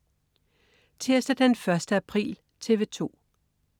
Tirsdag den 1. april - TV 2: